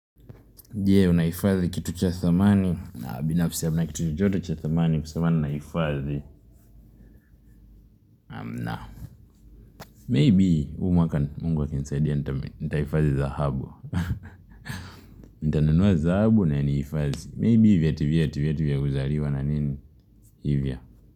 Jee unaifadhi kitu cha thamani na binafsi hamna kitu chochote cha thamani kusema ninaifadhi hamna Maybe huu mwaka mungu akinisaidia Nitaifadhi dhahabu Nitananua dhahabu na niifazi Maybe vyeti vyeti vyeti vya kuzaliwa na nini hivyo.